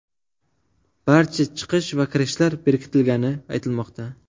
Barcha chiqish va kirishlar bekitilgani aytilmoqda.